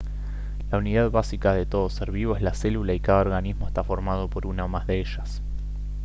la unidad básica de todo ser vivo es la célula y cada organismo está formado por una o más de ellas